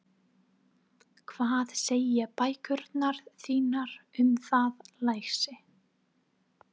Hvað segja bækurnar þínar um það, lagsi?